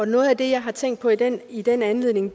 noget af det jeg har tænkt på i den i den anledning